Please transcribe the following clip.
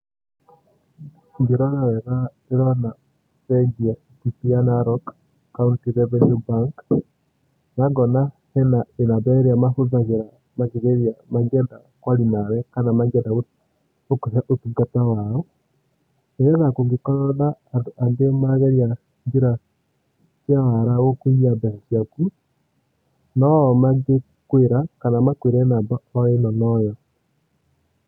Ngĩrora wega ndĩrona bengi ya Equity ya Narok, County Revenue Bank. Na ngona hena namba irĩa mahũthagĩra makĩgeria, mangĩenda kwaria nawe kana mangĩenda gũkũhe ũtungata wao nĩgetha kũngĩkorwo na andũ angĩ marageria njĩra cia wara gũkũiya mbeca ciaku noo mangĩkwĩra kana makwĩre namaba o ĩno noyo.